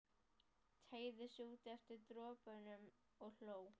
Teygði sig út eftir dropunum og hló.